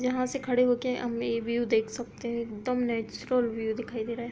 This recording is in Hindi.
यहाँ से खड़े होक हम व्यू देख सकते हैं। एकदम नेचुरल व्यू दिखाई दे रहा है।